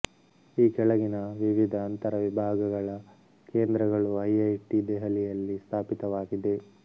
ಈ ಕೆಳಗಿನ ವಿವಿಧ ಅಂತರವಿಭಾಗಗಳ ಕೇಂದ್ರಗಳು ಐಐಟಿ ದೆಹಲಿಯಲ್ಲಿ ಸ್ಥಾಪಿತವಾಗಿದೆ